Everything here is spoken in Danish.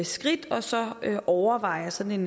skridt og så overveje sådan